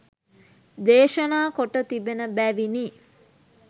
දේශනා කොට තිබෙන බැවිනි